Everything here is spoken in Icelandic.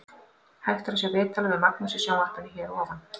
Hægt er að sjá viðtalið við Magnús í sjónvarpinu hér að ofan.